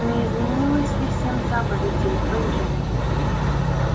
не изменилась ли семь заповедей бенджамин